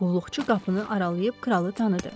Qulluqçu qapını aralayıb kralı tanıdı.